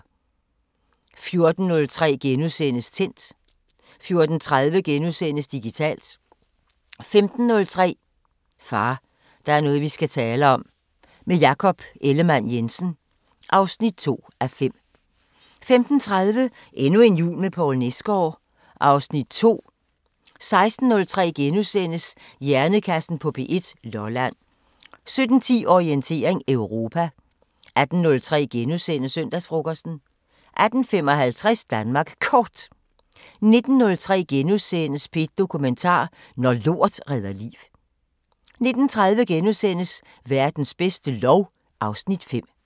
14:03: Tændt * 14:30: Digitalt * 15:03: Far, der er noget vi skal tale om 2:5 – med Jakob Ellemann-Jensen 15:30: Endnu en jul med Poul Nesgaard (Afs. 2) 16:03: Hjernekassen på P1: Lolland * 17:10: Orientering Europa 18:03: Søndagsfrokosten * 18:55: Danmark Kort 19:03: P1 Dokumentar: Når lort redder liv * 19:30: Verdens bedste lov (Afs. 5)*